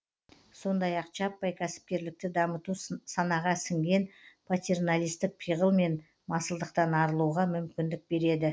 сондай ақ жаппай кәсіпкерлікті дамыту санаға сіңген патерналистік пиғыл мен масылдықтан арылуға мүмкіндік береді